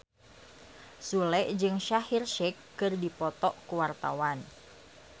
Sule jeung Shaheer Sheikh keur dipoto ku wartawan